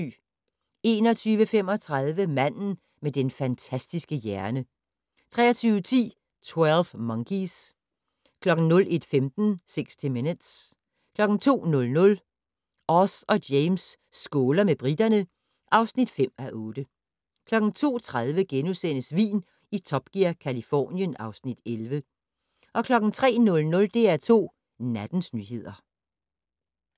21:35: Manden med den fantastiske hjerne 23:10: 12 Monkeys 01:15: 60 Minutes 02:00: Oz og James skåler med briterne (5:8) 02:30: Vin i Top Gear - Californien (Afs. 11)* 03:00: DR2 Nattens nyheder